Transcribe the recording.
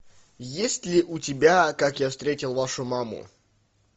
есть ли у тебя как я встретил вашу маму